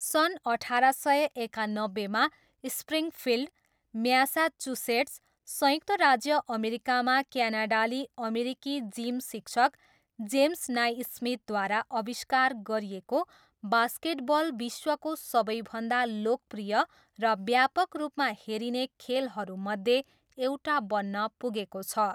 सन् अठार सय एकानब्बेमा स्प्रिङफिल्ड, म्यासाचुसेट्स, संयुक्त राज्य अमेरिकामा क्यानाडाली अमेरिकी जिम शिक्षक जेम्स नाइस्मिथद्वारा आविष्कार गरिएको बास्केटबल विश्वको सबैभन्दा लोकप्रिय र व्यापक रूपमा हेरिने खेलहरूमध्ये एउटा बन्न पुगेको छ।